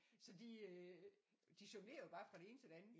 Så de øh de jonglerer jo bare fra det ene til det andet